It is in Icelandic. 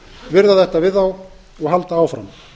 virða þetta við þá og halda áfram